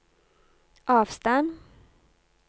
avstand